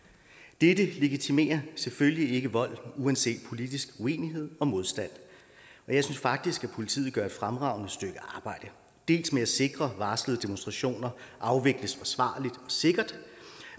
dette legitimerer selvfølgelig ikke vold uanset politisk uenighed og modstand og jeg synes faktisk at politiet gør et fremragende stykke arbejde dels med at sikre at varslede demonstrationer afvikles forsvarligt og sikkert